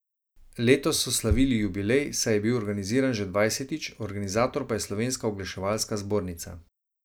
Letos so slavili jubilej, saj je bil organiziran že dvajsetič, organizator pa je Slovenska oglaševalska zbornica.